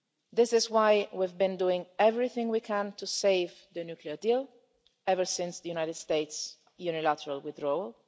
This is why we've been doing everything we can to save the nuclear deal ever since the United States' unilateral withdrawal.